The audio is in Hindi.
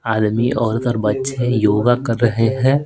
आदमी औरत और बच्चे योगा कर रहे हैं।